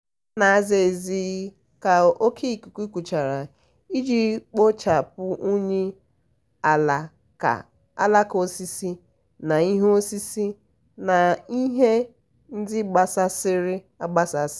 ha na-aza ezi ka oke ikuku kuchara iji kpochapụ unyi alaka osisi na ihe osisi na ihe ndị gbasasịrị agbasasị.